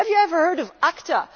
Have you ever heard of ACTA?